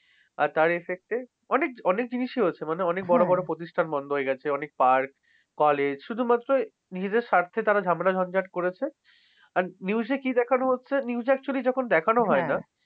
আর তার effect এ অনেক অনেক জিনিস হয়েছে মানে অনেক বড় বড় প্রতিষ্ঠান বন্ধ হয়ে গেছে। অনেক park college শুধুমাত্র নিজেদের স্বার্থে তারা ঝামেলা ঝঞ্ঝাট করেছে। and news এ কী দেখানো হচ্ছে? news actually যখন দেখানো হয় না